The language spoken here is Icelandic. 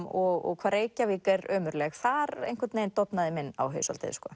og hvað Reykjavík er ömurleg þar einhvern veginn dofnaði minn áhugi svolítið